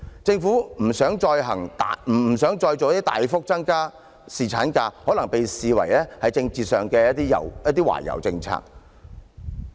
政府不想再"大幅"增加侍產假，可被視作政治上的懷柔政策。